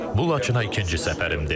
Bu Laçına ikinci səfərimdir.